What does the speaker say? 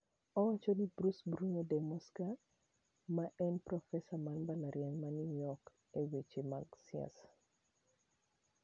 Owacho ni Bruce Bueno de Mesquita ma en profesa mar Mbalariany ma New York e weche mag siasa.